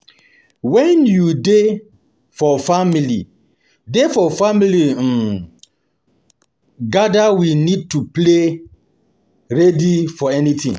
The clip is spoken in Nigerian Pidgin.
When we dey for family dey for family um gathering we need to dey ready um for anything